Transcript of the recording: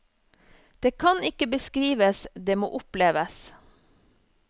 Det kan ikke beskrives, det må oppleves.